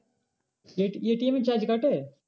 ATM এর charge কাটে?